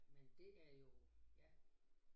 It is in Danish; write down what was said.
Men det er jo ja